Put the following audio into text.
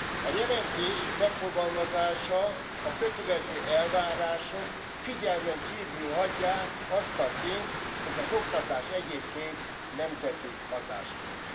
A jelentés megfogalmazása, a kötelező elvárások figyelmen kívül hagyják azt a tényt, hogy az oktatás egyébként nemzeti hatáskör.